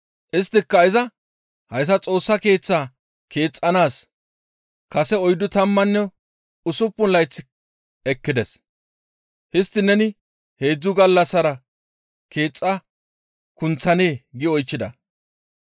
Isttika iza, «Hayssa Xoossa Keeththaa keexxanaas kase oyddu tammanne usuppun layth ekkides; histtiin neni heedzdzu gallassara keexxa kunththanee?» gi oychchida.